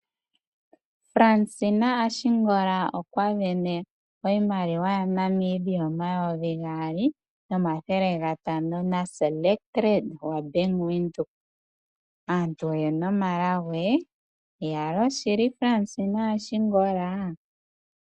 Fransina Ashingwala okwa sindana iimaliwa yaNamibia omayovi gaali nomathele gatano naselect red gwabank windoek. Aantu oyena omalago iyaloo shili Fransina Ashingola.